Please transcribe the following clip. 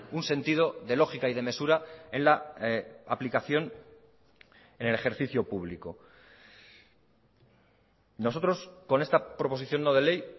un sentido de lógica y de mesura en la aplicación en el ejercicio público nosotros con esta proposición no de ley